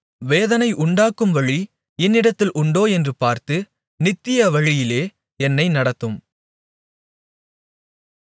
வேதனை உண்டாக்கும் வழி என்னிடத்தில் உண்டோ என்று பார்த்து நித்திய வழியிலே என்னை நடத்தும்